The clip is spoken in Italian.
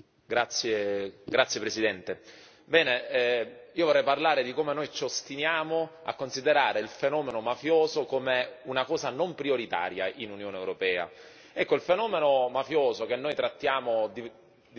Signor Presidente, onorevoli colleghi, vorrei parlare di come noi ci ostiniamo a considerare il fenomeno mafioso come qualcosa di non prioritario nell'Unione europea. Il fenomeno mafioso che noi trattiamo di